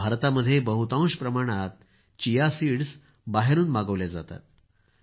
भारतामध्ये बहुतांश प्रमाणात चिया सीड बाहेरून मागवले जाते